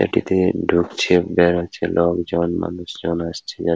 সেটি দিয়ে ঢুকছে বেড়াচ্ছে লোকজন মানুষজন আসছে যা --